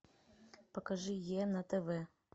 покажи е на тв